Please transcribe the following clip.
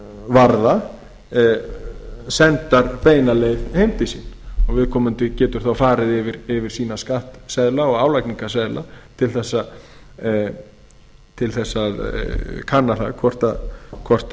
varða sendar beina leið heim til sín og viðkomandi getur þá farið yfir sína skattseðla og álagningarseðla til þess að kanna það hvort